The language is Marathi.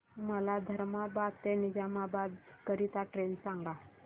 मला धर्माबाद ते निजामाबाद करीता ट्रेन सांगा